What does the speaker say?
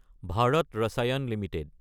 Bharat Rasayan Ltd